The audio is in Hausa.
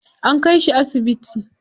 An kai shi asibiti.